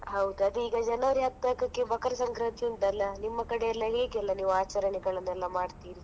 ಹೌದ್, ಅದೇ ಈಗ January ಹದಿನಾಕಕ್ಕೆ ಮಕರ ಸಂಕ್ರಾಂತಿ ಉಂಟಲ್ಲ, ನಿಮ್ಮ ಕಡೆ ಎಲ್ಲಾ ಹೇಗೆಲ್ಲಾ ನೀವು ಆಚರಣೆಗಳನ್ನೆಲ್ಲ ಮಾಡ್ತೀರಿ?